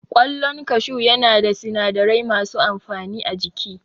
Ƙwallon kashu ya na da sinadarai masu amfani a jiki